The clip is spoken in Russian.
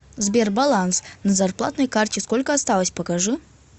сбер баланс на зарплатной карте сколько осталось покажи